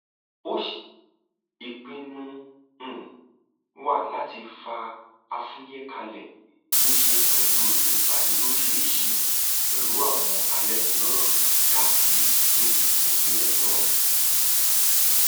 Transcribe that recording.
ìpinnu um wa láti fa afuye kalẹ ní í ṣe pẹlú ìpàdé lóríṣìíríṣìí pẹlú àwọn alẹnulọrọ káàkiri um ìpínlẹ náà